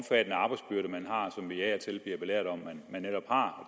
som vi af og til bliver belært om de netop har